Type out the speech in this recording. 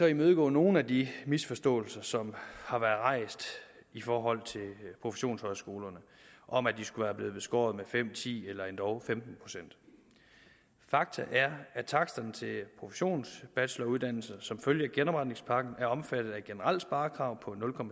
imødegå nogle af de misforståelser som har været rejst i forhold til professionshøjskolerne om at de skulle være blevet beskåret med fem ti eller endog femten procent fakta er at taksterne til professionsbacheloruddannelserne som følge af genopretningspakken er omfattet af et generelt sparekrav på